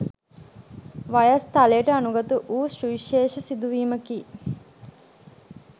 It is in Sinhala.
වයස් තලයට අනුගතවූ සුවිශේෂ සිදුවීමකි.